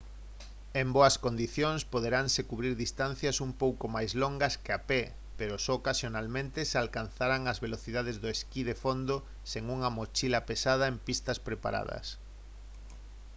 en boas condicións poderanse cubrir distancias un pouco máis longas que a pé pero só ocasionalmente se alcanzarán as velocidades do esquí de fondo sen unha mochila pesada en pistas preparadas